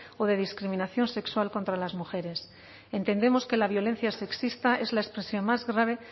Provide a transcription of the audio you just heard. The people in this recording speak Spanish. o de discriminación sexual contra las mujeres entendemos que la violencia sexista es la expresión más grave